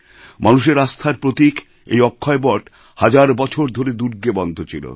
মানুষের আস্থার প্রতীক এই অক্ষয়বট হাজার বছর ধরে দুর্গে বন্ধ ছিল